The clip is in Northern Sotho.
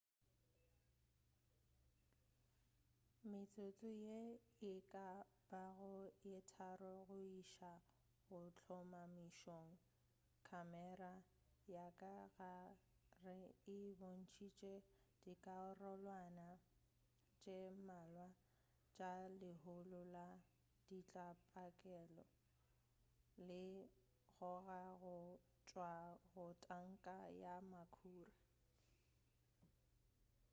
metsotso ye e ka bago ye 3 go iša go hlomamišong khamera ya ka gare e bontšitše dikarolwana tše mmalwa tša lehulo la ditlabakelo le kgoga go tšwa go tanka ya makhura